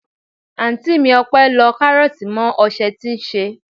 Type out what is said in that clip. Anti mi Ope lọ karoti mọ ose tí ṣe.